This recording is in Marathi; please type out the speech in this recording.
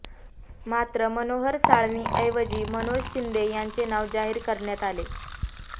मात्र मनोहर साळवींऐवजी मनोज शिंदे यांचे नाव जाहीर करण्यात आले